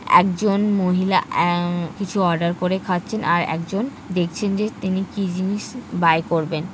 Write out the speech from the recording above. একজন মহিলা আহ কিছু অর্ডার করে খাচ্ছেন আর একজন দেখছেন যে তিনি কি জিনিস বাই করবেন ।